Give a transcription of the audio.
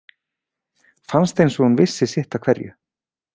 Fannst eins og hún vissi sitt af hverju.